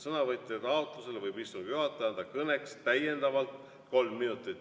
Sõnavõtja taotlusel võib istungi juhataja anda kõneks täiendavalt kolm minutit.